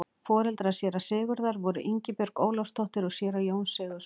Foreldrar séra Sigurðar voru Ingibjörg Ólafsdóttir og séra Jón Sigurðsson.